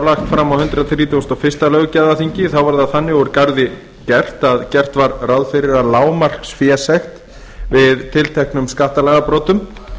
lagt fram á hundrað þrítugasta og fyrsta löggjafarþingi var gert ráð fyrir að lágmarksfésekt við tilteknum skattalagabrotum